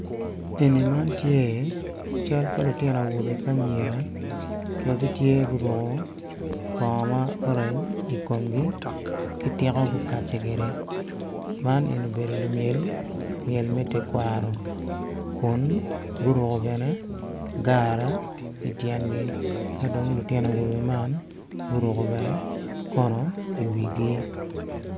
Eni man tye i cal pa lutino awobe ki anyira magitye guruko bongo ma orange ikomgi ki tiko gukace kwede ma eni obedo lumyel myel me tekwaro ku guruko gine gara ityengi ka dong lutino awobe man guruko kono i iwigi.